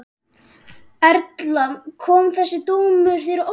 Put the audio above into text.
Erla: Kom þessi dómur þér á óvart?